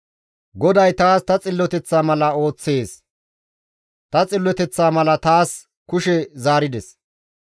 «GODAY taas ta xilloteththa mala ooththees; ta xilloteththa mala taas kushe zaarides.